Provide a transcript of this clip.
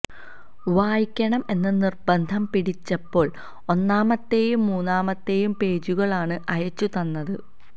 വായിക്കണം എന്ന് നിർബന്ധം പിടിച്ചപ്പോൾ ഒന്നാമത്തെയും മൂന്നാമത്തെയും പേജുകൾ ആണ് അയച്ചു തന്നത്